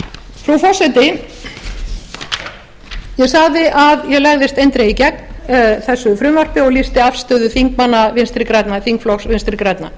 frú forseti ég sagði að ég legðist eindregið gegn þessu frumvarpi og lýsti afstöðu þingflokks vinstri grænna